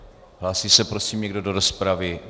Hlásí se prosím někdo do rozpravy?